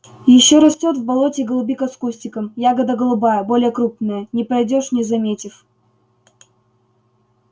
ещё растёт в болоте голубика с кустиком ягода голубая более крупная не пройдёшь не заметив